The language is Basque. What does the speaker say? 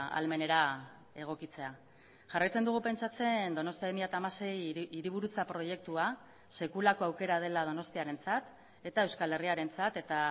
ahalmenera egokitzea jarraitzen dugu pentsatzen donostia bi mila hamasei hiriburutza proiektua sekulako aukera dela donostiarentzat eta euskal herriarentzat eta